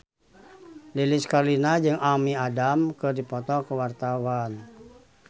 Lilis Karlina jeung Amy Adams keur dipoto ku wartawan